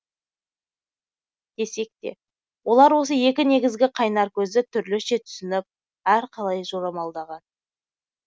десек те олар осы екі негізгі қайнар көзді түрліше түсініп әрқалай жорамалдаған